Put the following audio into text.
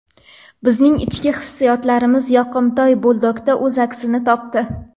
Bizning ichki hissiyotlarimiz yoqimtoy buldogda o‘z aksini topdi.